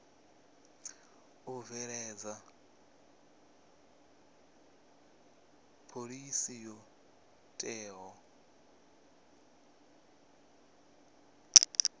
u bveledza phoḽisi yo teaho